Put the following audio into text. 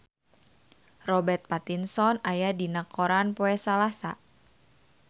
Robert Pattinson aya dina koran poe Salasa